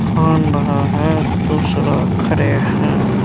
फान रहा है दूसरा खड़े है।